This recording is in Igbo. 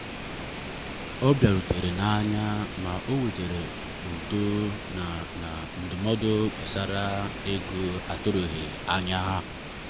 ọ bịarutere n'anya ma o wetara udo na na ndụmọdụ gbasara ego a tụrụghị anya.